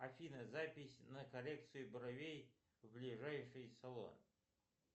афина запись на коррекцию бровей в ближайший салон